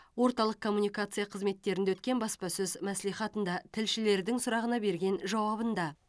орталық коммуникация қызметтерінде өткен баспасөз мәслихатында тілшілердің сұрағына берген жауабында